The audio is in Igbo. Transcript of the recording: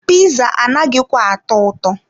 Piza anaghịkwa atọ ụtọ.